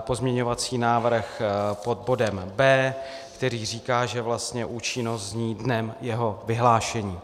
pozměňovací návrh pod bodem B, který říká, že vlastně účinnost zní "dnem jeho vyhlášení".